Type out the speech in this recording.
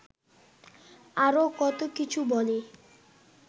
আরও কত কিছু বলে